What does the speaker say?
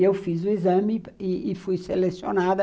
E eu fiz o exame e e fui selecionada.